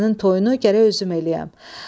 Sənin toyunu gərək özüm eləyəm.